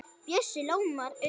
Bjössi ljómar upp.